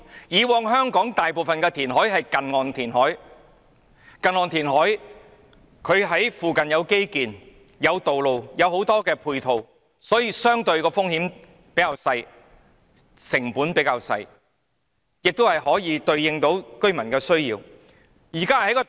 以往香港大部分的填海工程也是近岸填海，在附近有基建、道路和很多配套設施，因此，風險和成本相對較低，也可以回應居民的需要。